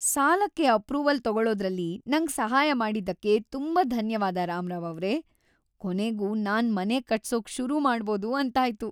ಸಾಲಕ್ಕೆ ಅಪ್ರೂವಲ್ ತೊಗೊಳೋದ್ರಲ್ಲಿ ನಂಗ್ ಸಹಾಯ ಮಾಡಿದ್ದಕ್ಕೆ ತುಂಬಾ ಧನ್ಯವಾದ ರಾಮರಾವ್ ಅವ್ರೇ. ಕೊನೆಗೂ ನಾನ್ ಮನೆ ಕಟ್ಸೋಕ್ ಶುರು ಮಾಡ್ಬೋದು ಅಂತಾಯ್ತು.